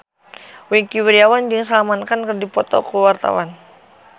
Wingky Wiryawan jeung Salman Khan keur dipoto ku wartawan